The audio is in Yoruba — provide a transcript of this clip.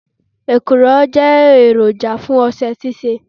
Èkùrọ́ jẹ́ èròjà fún ọṣẹ ṣíṣe.